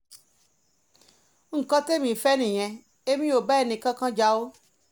nǹkan tẹ̀mí fẹ́ nìyẹn èmi ò bá ẹnìkankan jà o